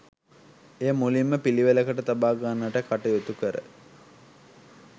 එය මුලින්ම පිළිවෙලට තබාගන්නට කටයුතු කර